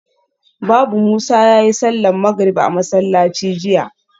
Babu Musa yayi sallar magrib a masallaci jiya